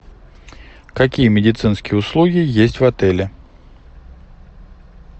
какие медицинские услуги есть в отеле